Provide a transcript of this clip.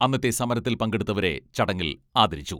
അന്നത്തെ സമരത്തിൽ പങ്കെടുത്തവരെ ചടങ്ങിൽ ആദരിച്ചു.